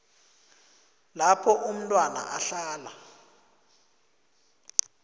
lapho umntwana ahlala